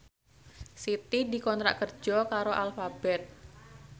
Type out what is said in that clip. Siti dikontrak kerja karo Alphabet